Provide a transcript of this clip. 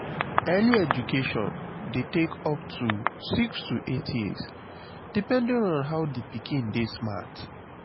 early education de take up to 6-8years depending on how the pikin de smart